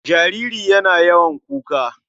Jariri yana yawan kuka.